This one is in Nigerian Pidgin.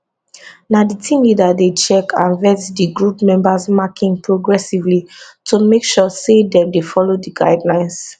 na di team leader dey check and vet di group members marking progressively to make sure say dem dey follow di guidelines